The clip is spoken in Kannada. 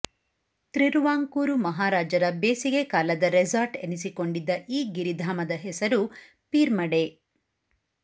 ತ್ರಿರುವಾಂಕೂರು ಮಹಾರಾಜರ ಬೇಸಿಗೆ ಕಾಲದ ರೆಸಾರ್ಟ್ ಎನಿಸಿಕೊಂಡಿದ್ದ ಈ ಗಿರಿಧಾಮದ ಹೆಸರು ಪೀರ್ಮಡೆ